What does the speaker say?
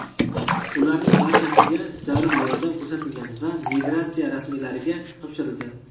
Ularning barchasiga zarur yordam ko‘rsatilgan va migratsiya rasmiylariga topshirilgan.